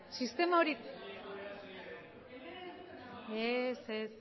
sistema hori ez